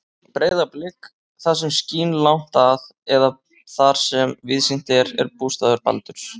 Breiðablik, það sem skín langt að eða þar sem víðsýnt er, er bústaður Baldurs.